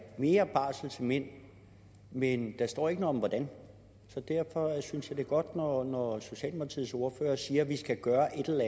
mere barsel til mænd men der står ikke noget om hvordan så derfor synes jeg det er godt når socialdemokratiets ordfører siger at vi skal gøre et